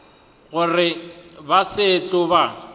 gore ba se tlo ba